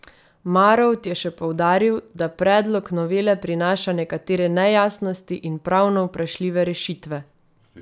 Marolt je še poudaril, da predlog novele prinaša nekatere nejasnosti in pravno vprašljive rešitve.